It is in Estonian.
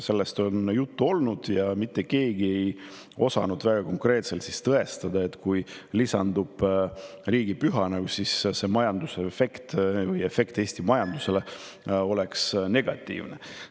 Sellest on juttu olnud ja mitte keegi ei osanud väga konkreetselt tõestada seda, et kui lisandub riigipüha, tekiks sellest Eesti majandusele negatiivne efekt.